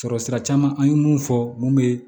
Sɔrɔ sira caman an ye mun fɔ mun bɛ